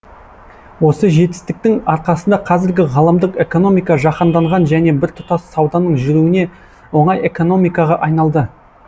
осы жетістіктің арқасында қазіргі ғаламдық экономика жаһанданған және біртұтас сауданың жүруіне оңай экономикаға айналды